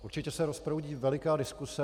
Určitě se rozproudí veliká diskuse.